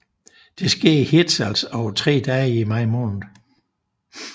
Det sker i Hirtshals over tre dage i maj måned